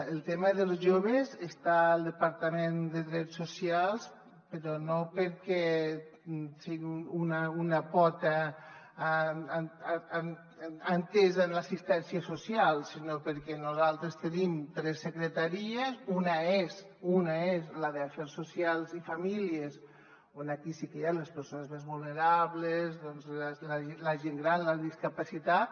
el tema dels joves està al departament de drets socials però no perquè sigui una pota entesa en l’assistèn·cia social sinó perquè nosaltres tenim tres secretaries una és la d’afers socials i fa·mílies on sí que hi ha les persones més vulnerables la gent gran la discapacitat